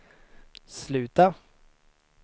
sluta